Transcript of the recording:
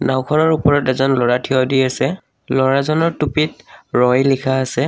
নাওঁখনৰ ওপৰত এজন ল'ৰা থিয় দি আছে ল'ৰাজনৰ টুপিত ৰই লিখা আছে।